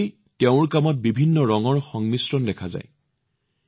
ইয়াৰ বাবে তেওঁৰ কামত বিভিন্ন ৰং দেখা যায়